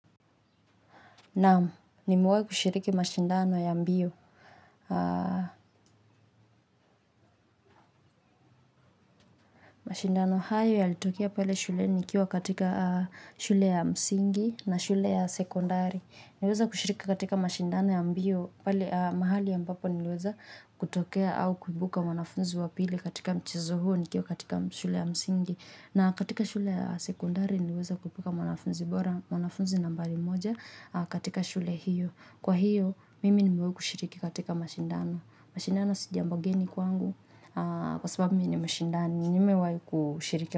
Naam, nimewahi kushiriki mashindano ya mbio. Mashindano hayo yalitokea pale shuleni nikiwa katika shule ya msingi na shule ya sekondari. Niliweza kushiriki katika mashindano ya mbio pale mahali ya ambapo niliweza kutokea au kuibuka wanafunzi wa pili katika mchezo huo nikiwa katika shule ya msingi. Na katika shule ya sekondari niliweza kuibuka wanafunzi nambari moja katika shule hiyo. Kwahiyo mimi nimewahi kushiriki katika mashindano. Mashindana si jambo geni kwangu kwa sababu mimi nimeshindana nimewahi kushiriki.